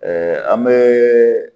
an bɛ